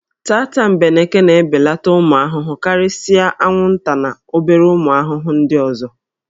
Tatambeneke na-ebeleta ụmụ ahụhụ karịsịa anwụnta na obere ụmụ ahụhụ nd ọzọ